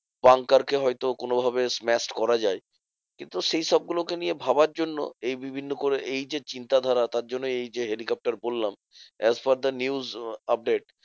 Banker কে হয়তো কোনোভাবে smashed করা যায়। কিন্তু সেইসব গুলোকে নিয়ে ভাবার জন্য এই বিভিন্ন করে এই যে চিন্তাধারা তার জন্য এই যে হেলিকপ্টার বললাম as per the news update.